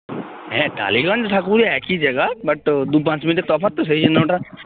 হ্যাঁ টালিগঞ্জ ঢাকুরিয়া একই জায়গা but দু পাঁচ মিনিটের তফাৎ তো সেই জন্য ওটা